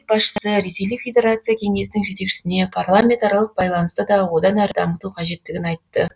мемлекет басшысы ресейлік федерация кеңесінің жетекшісіне парламентаралық байланысты да одан әрі дамыту қажеттігін айтты